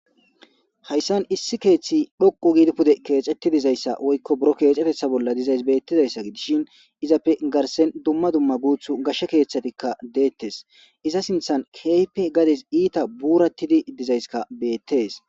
hayssan issi keeththi dhoqu giidi pude keexetti dizayssa woykko buro keexetetha bolla dizays beettidayssa gidishin izappe garsen dumma dumma guuthu gashshe keeththatikka deettes iza sinthan keehpe gades iita buurattidi dizayskka beettees